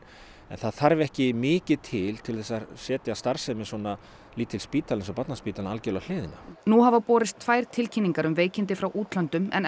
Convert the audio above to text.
það þarf ekki mikið til til þess að setja starfsemi svona lítils spítala eins og Barnaspítalans algjörlega á hliðina nú hafa borist tvær tilkynningar um veikindi frá útlöndum en